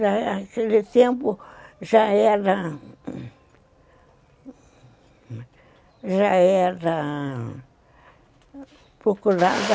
Naquele tempo já era já era procurada